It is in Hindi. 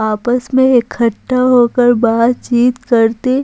आपस में इकट्ठा होकर बातचीत करते--